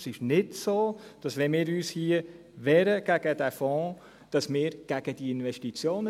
Es ist nicht so, dass wir gegen diese Investitionen sind, wenn wir uns gegen diesen Fonds wehren.